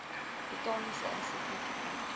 botaniese instituut bied